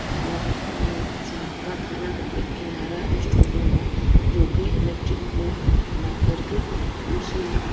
और जहां कारखाना का एक किनारा स्टोर रूम है जो कि इलेक्ट्रिक बोर्ड बना कर के उस।